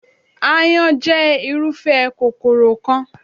Aáyán jẹ́ irúfẹ́ kòkòrò kan.